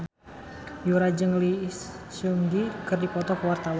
Yura jeung Lee Seung Gi keur dipoto ku wartawan